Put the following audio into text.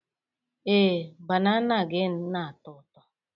Ee, banana gị na-atọ ụtọ.